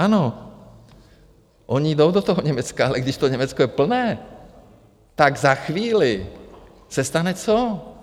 Ano, oni jdou do toho Německa, ale když to Německo je plné, tak za chvíli se stane co?